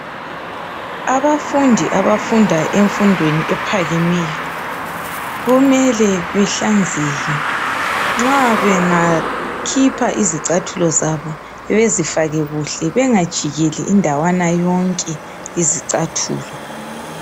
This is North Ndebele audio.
Abafundi abafundayo emfundweni ephakemeyo kumele behlanzeke nxa bekhipha izicathulo zabo, bezifake kuhle bengajikeli indawana yonke izicathulo